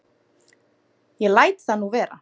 Ég læt það nú vera.